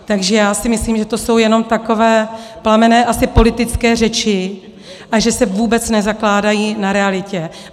Takže já si myslím, že to jsou jenom takové plamenné, asi politické řeči a že se vůbec nezakládají na realitě.